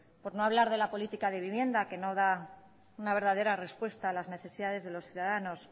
por no hablar de la política de vivienda que no da una verdadera respuesta a las necesidades de los ciudadanos